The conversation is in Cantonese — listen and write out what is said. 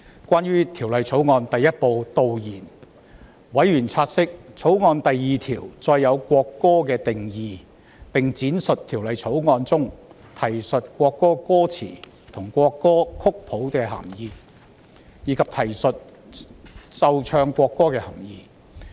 關於《條例草案》第1部導言，委員察悉，《條例草案》第2條訂明國歌的定義，並闡釋《條例草案》中提述國歌歌詞及國歌曲譜的涵義，以及提述"奏唱國歌"的涵義。